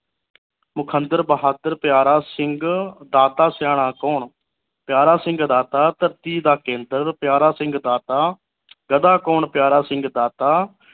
ਮੁਖਦਰ ਬਹਾਦਰ ਪਿਆਰਾ ਸਿੰਘ ਦਾਤਾ ਸਿਆਣਾ ਕੌਣ ਪਿਆਰਾ ਸਿੰਘ ਦਾਤਾ ਧਰਤੀ ਦਾ ਕੇਂਦਰ ਪਿਆਰਾ ਸਿੰਘ ਦਾਤਾ ਗਦਾ ਕੌਣ ਪਿਆਰਾ ਸਿੰਘ ਦਾਤਾ